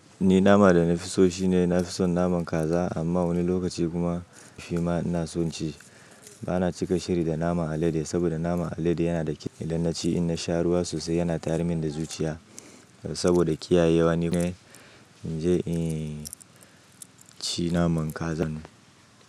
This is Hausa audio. Ni nama da na fi so shine na fi son naman kaza, amma wani lokaci kuma shima ina son ci. Ba na cika shiri da naman alade, saboda naman alade yana da kitse idan na ci, idan na sha ruwa sosai yana tayar min da zuciya. Saboda kiyaye wani mai, in je in ci naman kazan.